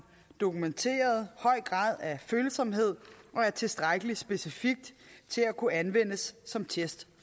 dokumenteret høj grad af følsomhed og er tilstrækkelig specifik til at kunne anvendes som test